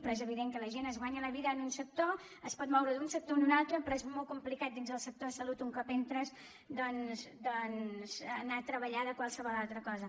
però és evident que la gent es guanya la vida en un sector es pot moure d’un sector a un altre però és molt complicat dins el sector salut un cop entres doncs anar a treballar de qualsevol altra cosa